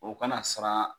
O kana sara